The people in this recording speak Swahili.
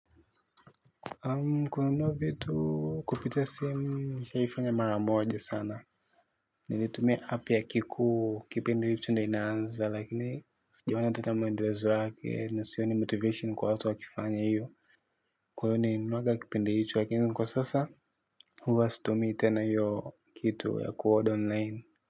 Kununua vitu kupitia simu nishaifanya mara moja sana. Nilitumia app ya kiku kipindi hicho ndo inaanza lakini sijaona ata maendelezo yake na sioni motivation kwa watu wa kifanya iyo. Kwa hivyo nilinuaga kipindi hichoo lakini kwa sasa. Huwa situmi tena hiyo kitu ya kuorder online.